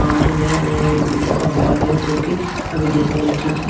और नया नया ये जिम का हॉल है जो कि अभी डेकोरेट की--